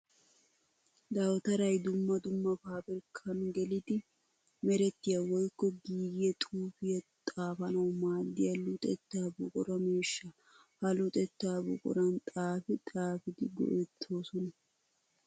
Dawutaray dumma dumma pabirkkan geliddi meretiya woykko giigiya xuufiya xaafanawu maadiya luxetta buqura miishsha. Ha luxetta buquran xaafi xaafiddi go'ettosonna.